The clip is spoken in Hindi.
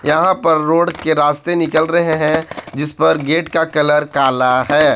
यहां पर रोड के रास्ते निकाल रहे हैं जिसपर गेट का कलर काला है।